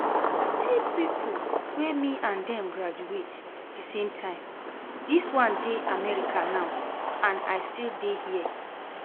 See people wey me and dem graduate the same time, dis one dey America now and I still dey here